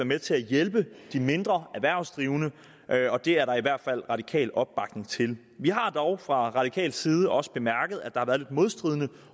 med til at hjælpe de mindre erhvervsdrivende det er der i hvert fald radikal opbakning til vi har dog fra radikal side også bemærket at der har været lidt modstridende